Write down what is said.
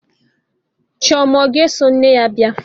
Chioma ọ ga-eso nne ya bịa?